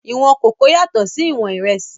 Ìwọ̀n kòkó yàtọ̀ sí ìwọ̀n ìrẹsì